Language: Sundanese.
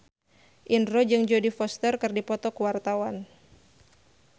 Indro jeung Jodie Foster keur dipoto ku wartawan